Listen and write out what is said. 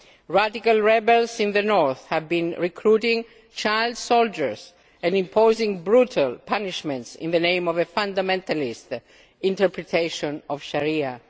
Radical rebels in the North have been recruiting child soldiers and imposing brutal punishments in the name of a fundamentalist interpretation of Sharia.